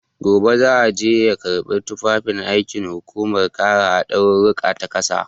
Gobe zai je ya karɓi tufafin aikin hukumar kare haɗarurruka ta ƙasa.